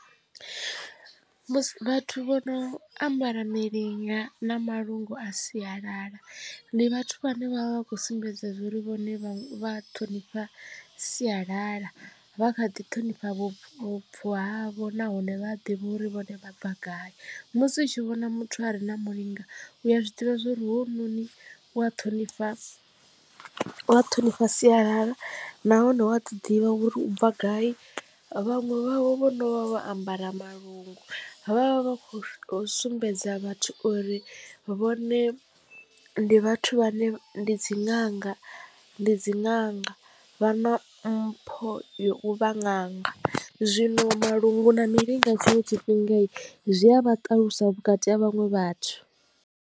Musi vhathu vho no ambara milinga na malungu a sialala ndi vhathu vhane vha vha khou sumbedza zwa uri vhone vha ṱhonifha sialala vha kha ḓi ṱhonifha vhupo, vhubvo havho nahone vha a ḓivha uri vhone vha bva gai. Musi u tshi vhona muthu a re na mulinga u a zwiḓivha zwauri hu noni u a ṱhonifha wa ṱhonifha sialala nahone u a ḓi ḓivha uri u bva gai vhaṅwe vhavho vhono vho ambara malungu vha vha kho sumbedza vhathu uri vhone ndi vhathu vhane ndi dzi ṅanga, ndi dzi ṅanga vha na mpho ya u vha ṅanga zwino malungu na milinga tshinwe tshifhinga zwi a vha ṱaluswa vhukati ha vhaṅwe vhathu.